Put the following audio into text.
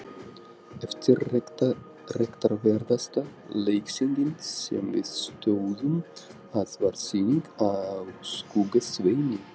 Eftirtektarverðasta leiksýningin, sem við stóðum að, var sýning á Skugga-Sveini.